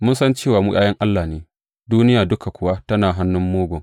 Mun san cewa mu ’ya’yan Allah ne, duniya duka kuwa tana hannun Mugun.